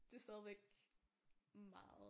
Det stadigvæk meget